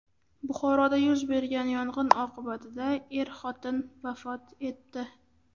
Buxoroda yuz bergan yong‘in oqibatida er-xotin vafot etdi.